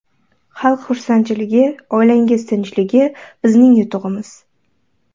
Xalq xursandchiligi oilangiz tinchligi bizning yutug‘imiz.